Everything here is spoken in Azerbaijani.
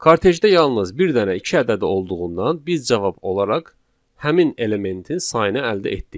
Kartejdə yalnız bir dənə iki ədədi olduğundan biz cavab olaraq həmin elementin sayını əldə etdik.